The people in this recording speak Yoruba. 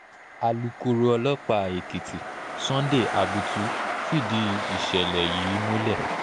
alūkkóró ọlọ́pàá èkìtì sunday abutu fìdí ìṣẹ̀lẹ̀ yìí múlẹ̀